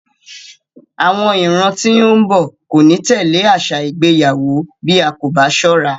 Àwọn ìran tí ó ń bọ̀ kò ní tẹ̀lé àṣà ìgbéyàwó bí a kò bá sọ́ra.